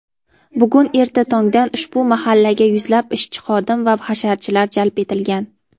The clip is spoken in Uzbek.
bugun erta tongdan ushbu mahallaga yuzlab ishchi-xodim va hasharchilar jalb etilgan.